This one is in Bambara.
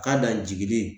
K'a dan jiginni